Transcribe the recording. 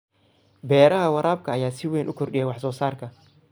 Beeraha waraabka ayaa si weyn u kordhiya wax soo saarka.